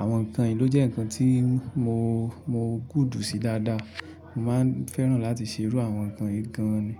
Àwọn ǹkan yìí ló jẹ́ ǹkan tí mo, mo good sí dáadáa. Ṣùgbọ́n mo fẹ́ràn láti ṣe irú àwọn ǹkan wọ̀nyí gan an ni.